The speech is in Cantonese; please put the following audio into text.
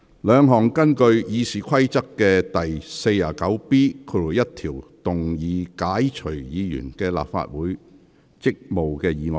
兩項根據《議事規則》第 49B1 條動議解除議員的立法會議員職務的議案。